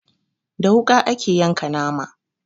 Da wuƙa ake yanka nama